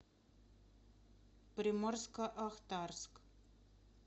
приморско ахтарск